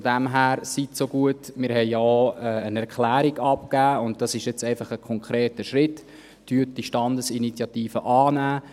Von daher: Seien Sie so gut – wir haben auch eine Erklärung abgegeben, und das ist jetzt einfach ein konkreter Schritt – und nehmen Sie die Standesinitiative an.